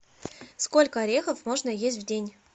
сколько орехов можно есть в день